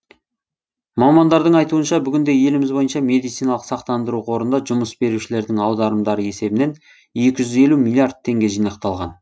мамандардың айтуынша бүгінде еліміз бойынша медициналық сақтандыру қорында жұмыс берушілердің аударымдары есебінен екі жүз елу миллиард теңге жинақталған